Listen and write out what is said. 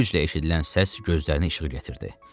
Güclə eşidilən səs gözlərinə işığı gətirdi.